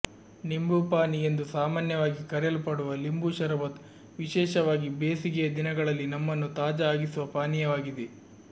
ನಿಂಬು ಪಾನಿ ಎಂದು ಸಾಮಾನ್ಯವಾಗಿ ಕರೆಯಲ್ಪಡುವ ಲಿಂಬು ಶರಬತ್ ವಿಶೇಷವಾಗಿ ಬೇಸಿಗೆಯ ದಿನಗಳಲ್ಲಿ ನಮ್ಮನ್ನು ತಾಜಾ ಆಗಿಸುವ ಪಾನೀಯವಾಗಿದೆ